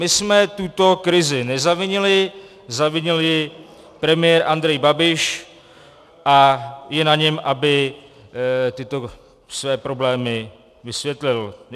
My jsme tuto krizi nezavinili, zavinil ji premiér Andrej Babiš a je na něm, aby tyto své problémy vysvětlil.